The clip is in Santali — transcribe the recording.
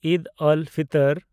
ᱤᱫᱽ ᱟᱞ-ᱯᱷᱤᱛᱚᱨ